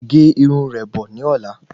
Gé Irun rẹ́ bọ̀ ní ọ̀la